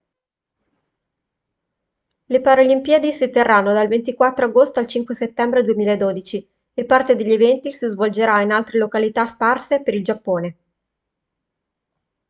le paralimpiadi si terranno dal 24 agosto al 5 settembre 2012 e parte degli eventi si svolgerà in altre località sparse per il giappone